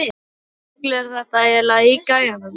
Hvaða rugl er þetta eiginlega í gæjanum?